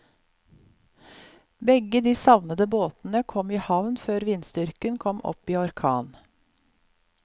Begge de savnede båtene kom i havn før vindstyrken kom opp i orkan.